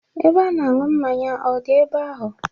Ebe a na-anwụ mmanya ọ dị ebe ahụ?